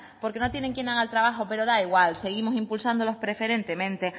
porque no tienen quien haga el trabajo pero da igual seguimos impulsándolos preferentemente